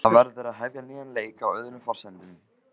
Það verður að hefja nýjan leik, á öðrum forsendum.